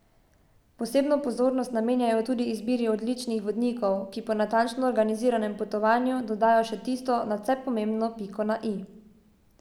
Posebno pozornost namenjajo tudi izbiri odličnih vodnikov, ki po natančno organiziranem potovanju, dodajo še tisto nadvse pomembno piko na i.